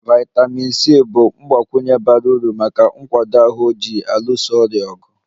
Vitamin C bụ ihe mgbakwunye bara uru maka nkwado ahụ ji alụso ọrịa ọgụ